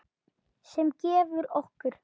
sem gefur okkur